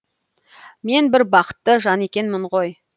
мен бір бақытты жан екенмін ғой